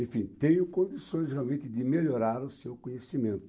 Enfim, tem condições realmente de melhorar o seu conhecimento.